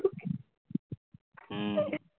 উম